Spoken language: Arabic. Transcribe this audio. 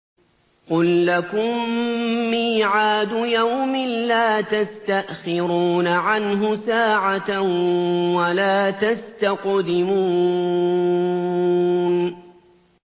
قُل لَّكُم مِّيعَادُ يَوْمٍ لَّا تَسْتَأْخِرُونَ عَنْهُ سَاعَةً وَلَا تَسْتَقْدِمُونَ